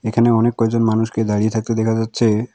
এখানে অনেক কয়জন মানুষকে দাঁড়িয়ে থাকতে দেখা যাচ্ছে।